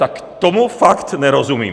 Tak tomu fakt nerozumím!